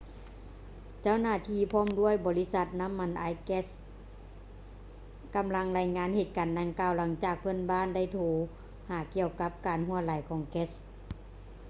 ເຈົ້າໜ້າທີ່ພ້ອມດ້ວຍບໍລິສັດນ້ຳມັນອາຍແກັດ ກຳລັງລາຍງານເຫດການດັ່ງກ່າວ ຫຼັງຈາກເພື່ອນບ້ານໄດ້ໂທຫາກ່ຽວກັບການຮົ່ວໄຫຼຂອງແກັດ